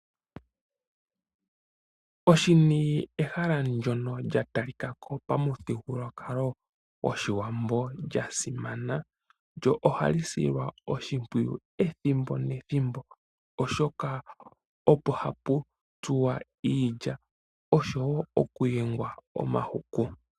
Oshini ehala ndono lya talikako pamuthigululwakalo goshiwambo lyasimana, lyo ohali silwa oshipwiyu ethimbo nethimbo oshoka opo hapu tsuwa iilya oshowo okuyenga omahuku.